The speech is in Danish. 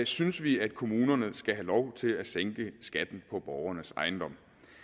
synes vi at kommunerne skal have lov til at sænke skatten på borgernes ejendom